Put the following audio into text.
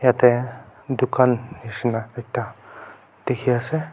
ete dukan nishi na ekta dikhi ase.